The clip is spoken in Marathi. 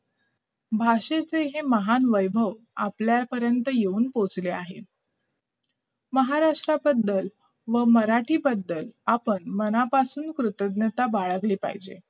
भाषेचे हे महान वैभव आपल्यापर्यंत येऊन पोहोचले आहेत महाराष्ट्राबद्दल व मराठी बद्दल आपण मानापसून कृतज्ञता बाळगली पाहिजे